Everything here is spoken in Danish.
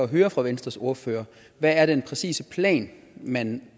høre fra venstres ordfører hvad er den præcise plan man